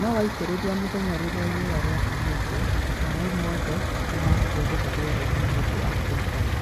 Nowaitĩrĩria mũthenya rĩrĩa riũa rĩakanĩte maĩ mothe mekũrĩra rĩerainĩ nĩũndũ wa ũrũgarĩ .